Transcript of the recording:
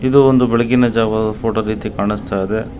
ಇದು ಒಂದು ಬೆಳಗಿನ ಜಾವ ಫೋಟೋ ರೀತಿ ಕಾಣುಸ್ತಾ ಇದೆ.